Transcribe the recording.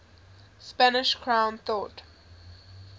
spanish crown thought